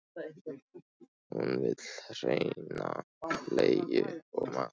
Hún vill hreina bleiu og mat.